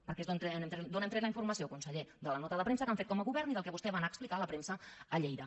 perquè és d’on hem tret la informació conseller de la nota de premsa que han fet com a govern i del que vostè va anar a explicar a la premsa a lleida